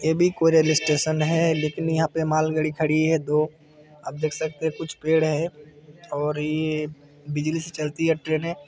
ये भी कोई रेलवे स्टेशन है लेकिन यहाँ पे मालगाड़ी खड़ी है दो आप देख सकते है कुछ पेड़ है और ये बिजली से चलती है ट्रेने है।